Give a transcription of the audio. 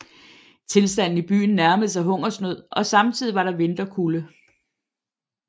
Tilstanden i byen nærmede sig hungersnød og samtidig var der vinterkulde